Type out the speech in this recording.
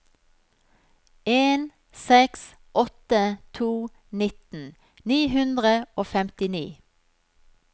en seks åtte to nitten ni hundre og femtini